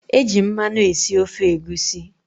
Eji mmanụ esi ofe egusi.